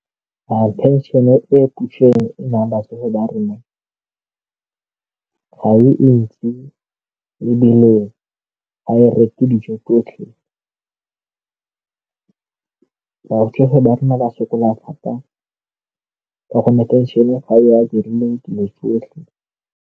Pension-e e puso e naya batsofe ba rona ga e ntsi ebile ga e reke dijo tsotlhe ba rona ba sokola thata ka gonne pension-e ga ya dilo tsotlhe.